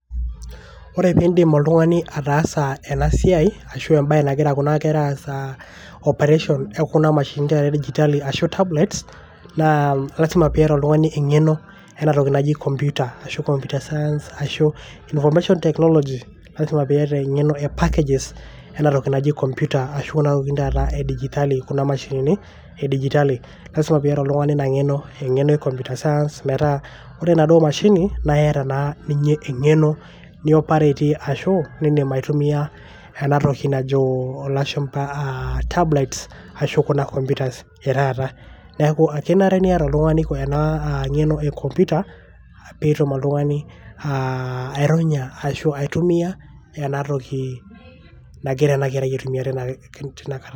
ore pindim oltungani ataasa ena siai ashu embae nagira kuna kera aas a operation ekuna mashinini taata e digital ashu tablets naa lasima piata oltungani engeno enatoki naji computer ashu computer science ashu informatiomation technology .lasima piata engeno entoki naji packages ashu enatoki naji computer ashu kuna tokitin taata e digitali kuna mashinini e digitali ,lasima piata oltungani ina ngeno ,engeno e computer science metaa ore enaduoo mashini metaa iyata naa ninye engeno nioperatie ashuaa indim aitumia enatoki najo ilashumba aa tablets ashu kuna computers etaata .niaku kenare niata oltungani ena aa ngeno e computer petum oltungani aironya ashwaa aitumia enatoki nagira ena kerai aitumia tina kata